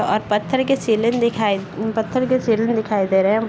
और पत्थर के सेलिंग दिखाई दे रहे हैं पत्थर के शिवलिंग दिखाई दे रहे है।